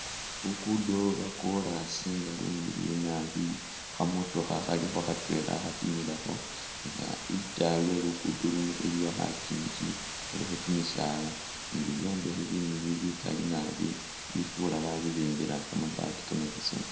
Luguudo lwa kolaasi nga lumiliyu naabi kha motokha khalikho khatweela khatimilakho nga itaayi we luguudo luno iliyo khakyingi khalikho kyimisaala ni bi'byombekhe bimiliyu bikaali naabi bifuura ba ba bibimbila kamabaati kamabeseemu .